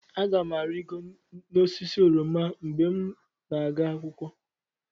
Aga m arịgoro osisi oroma mgbe m ga-aga akwụkwọ.